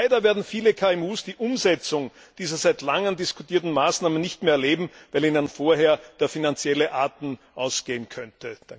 Nur leider werden viele KMU die Umsetzung dieser seit langem diskutierten Maßnahmen nicht mehr erleben, weil ihnen vorher der finanzielle Atem ausgehen könnte.